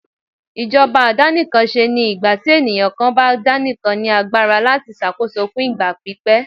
ìjọba àdàníkánsé ní ìgbàtí eniyan kan bá daníkán ní agbara latí ṣàkóso fún ìgbà pípẹ́.